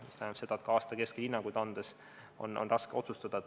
See tähendab seda, et aasta keskel hinnanguid andes on raske otsustada.